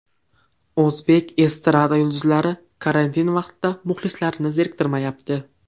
O‘zbek estrada yulduzlari karantin vaqtida muxlislarini zeriktirmayapti.